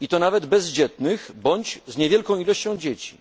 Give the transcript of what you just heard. i to nawet bezdzietnych bądź z niewielką liczbą dzieci.